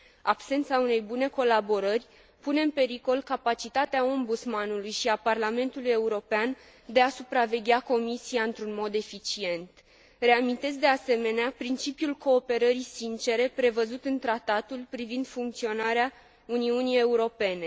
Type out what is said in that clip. Absența unei bune colaborări pune în pericol capacitatea Ombudsmanului și a Parlamentului European de a supraveghea Comisia într un mod eficient. Reamintesc, de asemenea, principiul cooperării sincere prevăzut în Tratatul privind funcționarea Uniunii Europene.